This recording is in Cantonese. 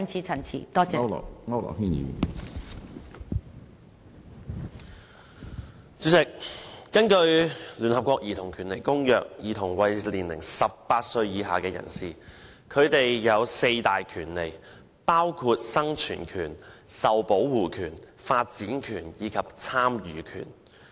主席，根據聯合國《兒童權利公約》，兒童為年齡18歲以下人士，他們有四大權利，包括生存權、受保護權、發展權和參與權。